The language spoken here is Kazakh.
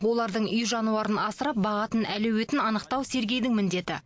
олардың үй жануарын асырап бағатын әлеуетін анықтау сергейдің міндеті